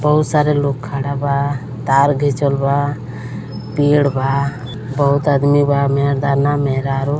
बहुत सारे लोग खड़ा बा। तार घिचल बा। पेड़ बा बहुत आदमी बा मेर्दाना महरारू --